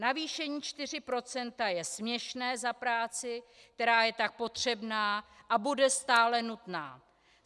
Navýšení 4 % je směšné za práci, která je tak potřebná a bude stále nutná.